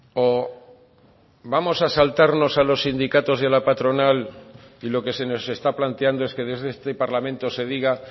o vamos a saltarnos a los sindicatos y a la patronal y lo que se nos está planteando es que desde este parlamento se diga